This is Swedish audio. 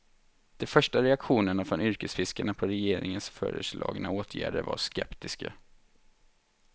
De första reaktionerna från yrkesfiskarna på regeringens föreslagna åtgärder var skeptiska.